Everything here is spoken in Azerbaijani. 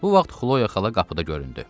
Bu vaxt Xloya xala qapıda göründü.